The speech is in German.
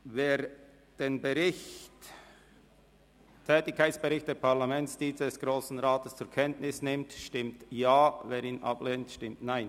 Wer den «Tätigkeitsbericht der Parlamentsdienste des Grossen Rates […]» zur Kenntnis nimmt, stimmt Ja, wer dies ablehnt, stimmt Nein.